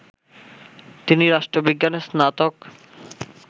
তিনি রাষ্ট্রবিজ্ঞানে স্নাতক